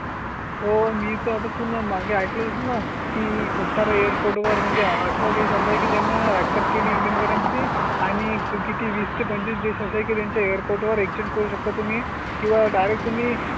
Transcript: तो मी तर आता तुम्ही मागे ऐकलं असेल ना की खूप सार एरपोर्ट वर म्हणजे अठरा देश आहे त्यांना अक्सेस केली. इंडियन करन्सी आणि किती वीस पंचवीस दिवस असे की त्यांच्या एरपोर्ट वर एक चेंज करू शकता. तुम्ही किंवा डायरेट तुम्ही